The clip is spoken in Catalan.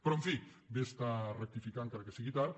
però en fi bé està rectificar encara que sigui tard